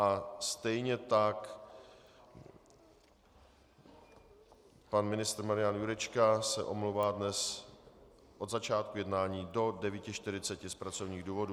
A stejně tak pan ministr Marian Jurečka se omlouvá dnes od začátku jednání do 9.40 z pracovních důvodů.